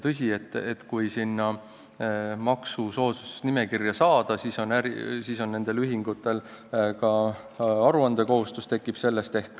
Tõsi, et kui sinna maksusoodustuste nimekirja saadakse, siis tekib nendel ühingutel ka aruandekohustus.